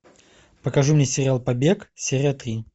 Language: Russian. покажи мне сериал побег серия три